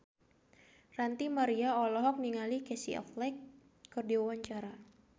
Ranty Maria olohok ningali Casey Affleck keur diwawancara